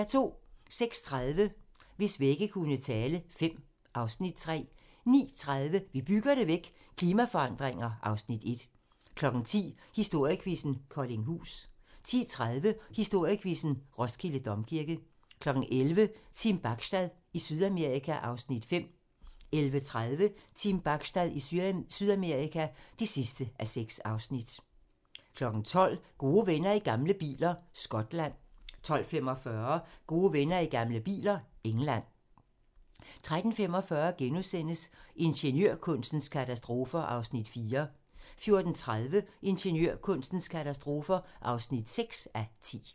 08:30: Hvis vægge kunne tale V (Afs. 3) 09:30: Vi bygger det væk – klimaforandringer (Afs. 1) 10:00: Historiequizzen: Koldinghus 10:30: Historiequizzen: Roskilde Domkirke 11:00: Team Bachstad i Sydamerika (5:6) 11:30: Team Bachstad i Sydamerika (6:6) 12:00: Gode venner i gamle biler - Skotland 12:45: Gode venner i gamle biler - England 13:45: Ingeniørkunstens katastrofer (4:10)* 14:30: Ingeniørkunstens katastrofer (6:10)